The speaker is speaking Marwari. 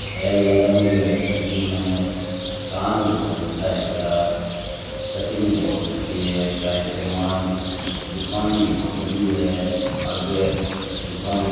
ये लहग मे लू हैं कह की कटिंग में कान ही बहुत तगड़ा है कटिंग भी बहुत तगड़ी है दुकान भी बहुत बड़ी है आगे दूकान के --